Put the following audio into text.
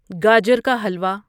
گاجر کا ہلوا